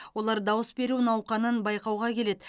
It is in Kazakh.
олар дауыс беру науқанын байқауға келеді